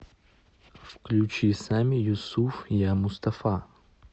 включи сами юсуф я мустафа